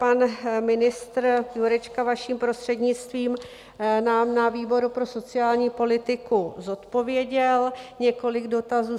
Pan ministr Jurečka, vaším prostřednictvím, nám na výboru pro sociální politiku zodpověděl několik dotazů.